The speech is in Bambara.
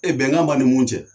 Ee bɛnkan b'a ni mun cɛ.